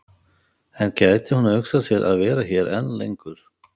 En gæti hún hugsað sér að vera hér enn lengur?